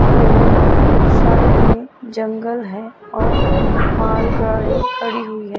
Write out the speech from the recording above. यह साइड में जंगल है और मालगाड़ी खड़ी हुई है।